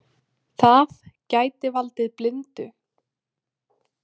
Það gæti valdið blindu.